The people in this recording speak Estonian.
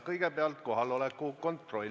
Kõigepealt kohaloleku kontroll.